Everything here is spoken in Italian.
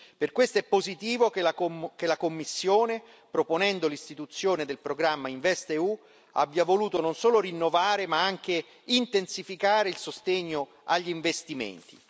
Per questo è positivo che la Commissione, proponendo l'istituzione del programma InvestEU, abbia voluto non solo rinnovare ma anche intensificare il sostegno agli investimenti.